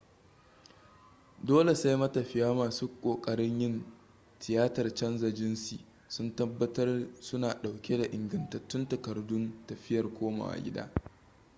dole sai matafiya masu kokarin yin tiyatar canza jinsi sun tabbatar suna dauke da ingantattun takardun tafiyar komawa gida